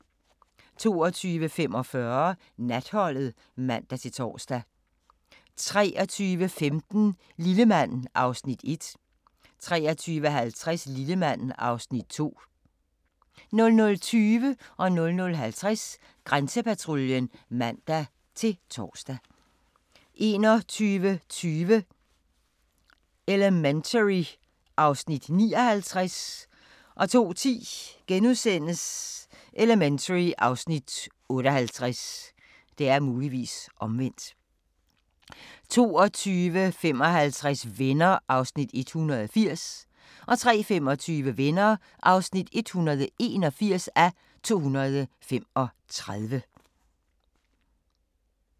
22:45: Natholdet (man-tor) 23:15: Lillemand (Afs. 1) 23:50: Lillemand (Afs. 2) 00:20: Grænsepatruljen (man-tor) 00:50: Grænsepatruljen (man-tor) 01:20: Elementary (Afs. 59) 02:10: Elementary (Afs. 58)* 02:55: Venner (180:235) 03:25: Venner (181:235)